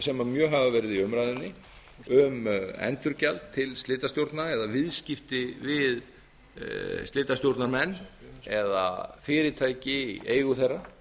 sem mjög hafa verið í umræðunni um endurgjald til slitastjórna eða viðskipti við slitastjórnarmenn eða fyrirtæki í eigu þeirra